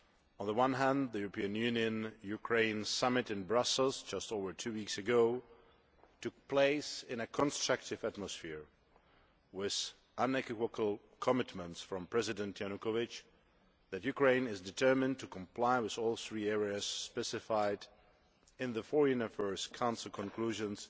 On the one hand, the European Union Ukraine Summit in Brussels just over two weeks ago took place in a constructive atmosphere with unequivocal commitments from President Yanukovych that Ukraine is determined to comply with all three areas specified in the Foreign Affairs Council Conclusions